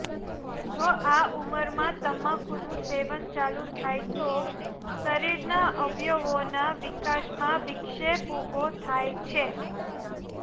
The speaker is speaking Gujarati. જો આ ઉંમરમાં તમાકુનું સેવન ચાલુ થાય તો શરીરના અવયવોના વિકાસમાં વિક્ષેપ ઊભો થાય છે